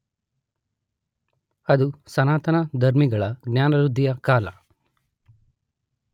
ಅದು ಸನಾತನ ಧರ್ಮಿಗಳ ಜ್ಞಾನವೃದ್ಧಿಯ ಕಾಲ.